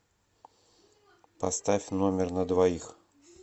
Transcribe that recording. поставь номер на двоих